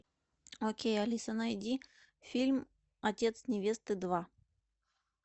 окей алиса найди фильм отец невесты два